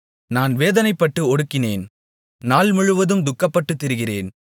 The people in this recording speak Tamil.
நான் வேதனைப்பட்டு ஒடுங்கினேன் நாள் முழுவதும் துக்கப்பட்டுத் திரிகிறேன்